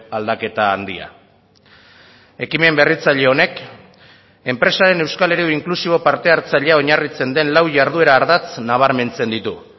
aldaketa handia ekimen berritzaile honek enpresaren euskal eredu inklusibo parte hartzailea oinarritzen den lau jarduera ardatz nabarmentzen ditu